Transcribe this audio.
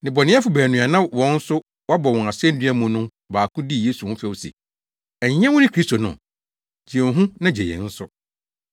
Nnebɔneyɛfo baanu a na wɔn nso wɔabɔ wɔn asennua mu no mu baako dii Yesu ho fɛw se, “Ɛnyɛ wone Kristo no? Gye wo ho na gye yɛn nso.”